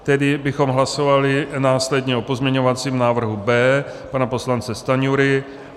Tedy bychom hlasovali následně o pozměňovacím návrhu B pana poslance Stanjury.